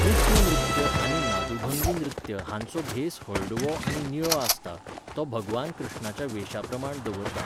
कृष्ण नृत्य आनी नादुभंगी नृत्य हांचो भेस हळडुवो आनी निळो आसता, तो भगवान श्रीकृष्णाच्या वेशाप्रमाण दवरता.